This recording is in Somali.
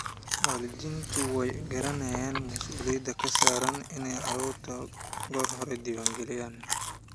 Waalidiintu way garanayaan mas'uuliyadda ka saaran inay carruurta goor hore diwaangeliyaan.